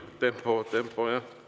Tempo, tempo!